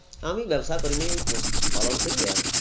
আমি ব্যবসা করিনি আমি পশুপালন করি এর